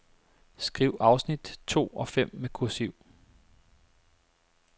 Skriv afsnit to og fem med kursiv.